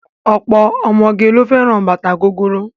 Ọ̀pọ̀ ọmọge ló fẹ́ràn bàtà gogoro.